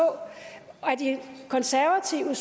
at de konservative